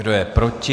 Kdo je proti?